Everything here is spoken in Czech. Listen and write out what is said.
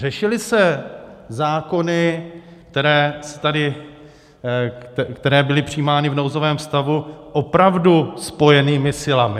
Řešily se zákony, které byly přijímány v nouzovém stavu, opravdu spojenými silami?